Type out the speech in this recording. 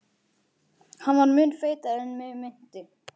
Hann var mun feitari en mig minnti.